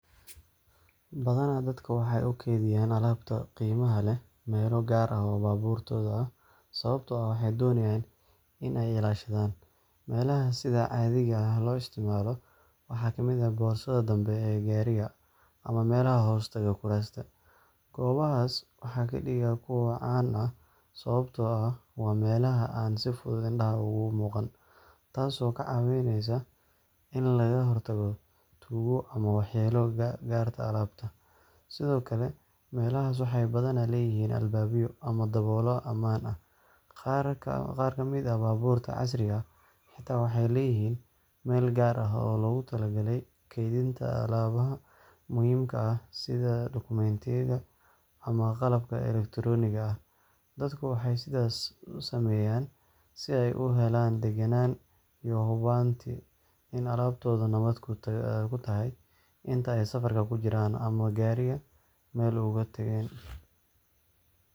Badana dadka waxay ukeydiyan alabta qimaha leeh meelo gar ah o babuurtooda ah. Sababto aah waxy donayan in ay ilashadan melaha sida cadiga lo isticmalo waxa kamid aah borsada dambe e gariga ama melaha hostaga kurasta gobahas waxa kadiga kuwa caan aah sababato ah wa melaha an sifudud indaha umuqan. Taas o kacawineysa in laga hortago tugo ama waxyela garta alabta, sido kale melahas waxay badana leyahin albabyo ama daboolo aman ah qar kamid ah babuurta casriga ah xita waxay leyahin Mel gar aah o logu talagalay keydinta alabaha muhimkaha sida Documenyada ama qalabka Electironiga aah dadka waxay sidas usameyan si ay uhelan daganan iyo hubanti in alabti nabad kutahay inta ay safarka kujiran ama Gariga mel ugatageen